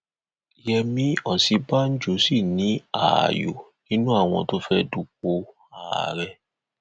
yẹmi òsínbàjò sì ní ààyò nínú àwọn tó fẹẹ dúpọ ààrẹ